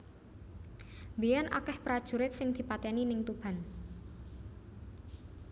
Mbiyen akeh prajurit sing dipateni ning Tuban